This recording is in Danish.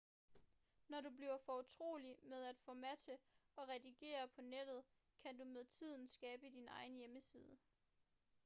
når du er blevet fortrolig med at formattere og redigere på nettet kan du med tiden skabe din egen hjemmeside